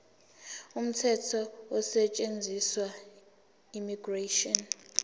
umthetho osetshenziswayo immigration